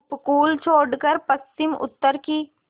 उपकूल छोड़कर पश्चिमउत्तर की